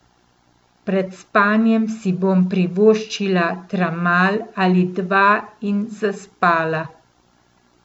Pred spanjem si bom privoščila tramal ali dva in zaspala.